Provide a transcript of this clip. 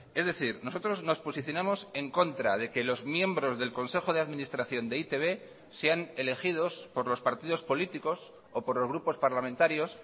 es decir nosotros nos posicionamos en contra de que los miembros del consejo de administración de e i te be sean elegidos por los partidos políticos o por los grupos parlamentarios